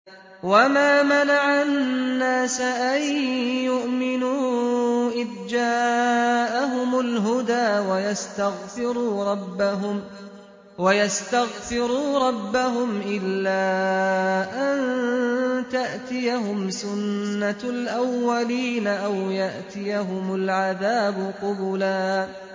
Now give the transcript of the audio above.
وَمَا مَنَعَ النَّاسَ أَن يُؤْمِنُوا إِذْ جَاءَهُمُ الْهُدَىٰ وَيَسْتَغْفِرُوا رَبَّهُمْ إِلَّا أَن تَأْتِيَهُمْ سُنَّةُ الْأَوَّلِينَ أَوْ يَأْتِيَهُمُ الْعَذَابُ قُبُلًا